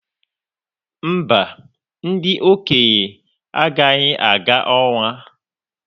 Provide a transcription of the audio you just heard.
mba, ndị okenye agaghị aga ọnwa.